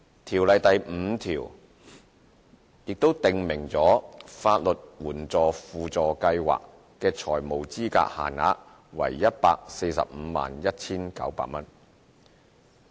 《條例》第 5A 條則訂明法律援助輔助計劃的財務資格限額為 1,451,900 元。